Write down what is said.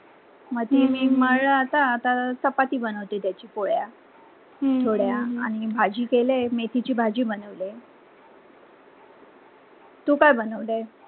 म्हणजे मी मळल. आता चपाती बनवते पोळ्या अह आनी भाजी केले मेथी ची भाजी बनवली. तू काय बनावते?